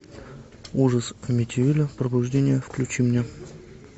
ужас амитивилля пробуждение включи мне